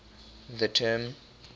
the term